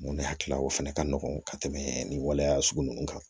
Mun ne hakilila o fana ka nɔgɔn ka tɛmɛ nin waleya sugu ninnu kan